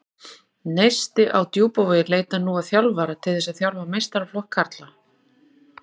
Neisti á Djúpavogi leitar nú að þjálfara til þess að þjálfa meistaraflokk karla.